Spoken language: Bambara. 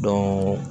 Dɔɔ